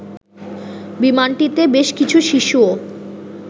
বিমানটিতে বেশ কিছু শিশুও